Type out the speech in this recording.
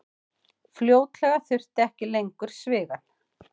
Fljótlega þurfti ekki lengur svigann.